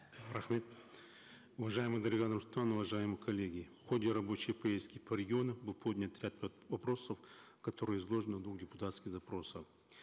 рахмет уважаемая дарига нурсултановна уважаемые коллеги в ходе рабочей поездки по регионам был поднят ряд вопросов которые изложены в двух депутатских запросах